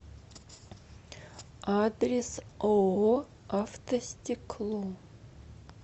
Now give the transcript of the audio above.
адрес ооо автостекло